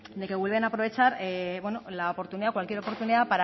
de que vuelven a aprovechar la oportunidad cualquier oportunidad